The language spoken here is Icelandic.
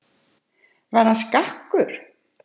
Var hann skakkur?